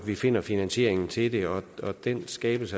vi finder finansieringen til det og den skabes